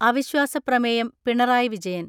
അവിശ്വാസ പ്രമേയം പിണറായി വിജയൻ